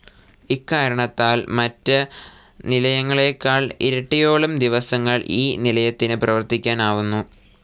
ഇക്കാരണത്താൽ മറ്റ് നിലയങ്ങളേക്കാൾ ഇരട്ടിയോളം ദിവസങ്ങൾ ഈ നിലയത്തിന് പ്രവർത്തിക്കാൻ ആവുന്നു.